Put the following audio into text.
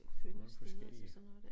Mange forskellige